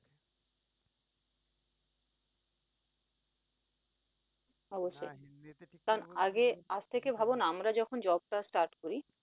অবশ্যই কারন আগে আজ থেকে ভাবও না যখন job টা start করি